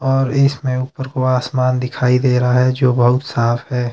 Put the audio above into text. और इसमें ऊपरको आसमान दिखाई दे रहा है जो बहोत साफ है।